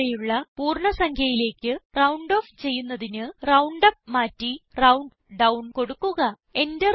തൊട്ട് താഴെയുള്ള പൂർണ്ണ സംഖ്യയിലേക്ക് റൌണ്ട് ഓഫ് ചെയ്യുന്നതിന് റൌണ്ടുപ്പ് മാറ്റി റൌണ്ട്ഡൌൺ കൊടുക്കുക